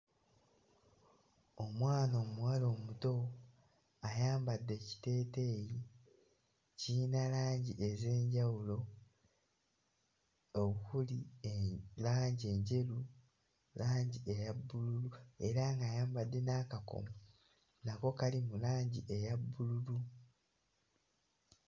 Omwana omuwala omuto ayambadde ekiteeteeyi kiyina langi ez'enjawulo okuli eh langi enjeru, langi eya bbululu era ng'ayambadde n'akakomo nako kali mu langi eya bbululu.